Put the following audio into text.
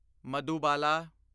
Madhubala